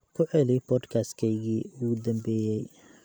ku celi podcast-keygii ugu dambeeyay